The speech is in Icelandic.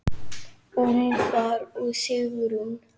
Úlfar og Sigrún.